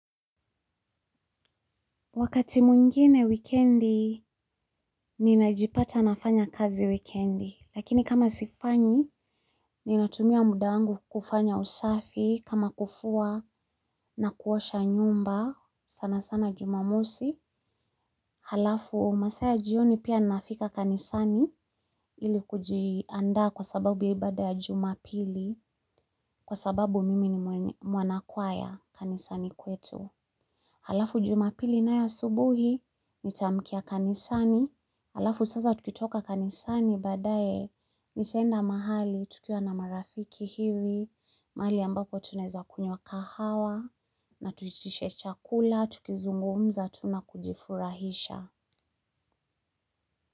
Wakati mwingine wikendi ninajipata nafanya kazi wikendi lakini kama sifanyi ninatumia muda wangu kufanya usafi kama kufua na kuosha nyumba sana sana jumamosi. Halafu masaa ya jioni pia nafika kanisani ili kujiandaa kwa sababu ya ibada ya jumapili kwa sababu mimi ni mwanakwaya kanisani kwetu. Halafu jumapili nayo asubuhi, nitaamkia kanisani, halafu sasa tukitoka kanisani baadaye, nitaenda mahali, tukiwa na marafiki hivi, mahali ambapo tunaeza kunywa kahawa, na tuitishe chakula, tukizungumza, tu na kujifurahisha.